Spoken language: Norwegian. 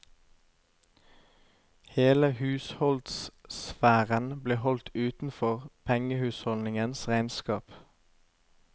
Hele husholdssfæren ble holdt utenfor pengehusholdningens regnskap.